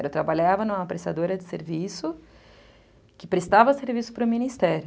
Eu trabalhava numa prestadora de serviço que prestava serviço para o Ministério.